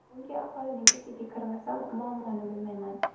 Chunki aholining ichiga kirmasam, muammoni bilmayman.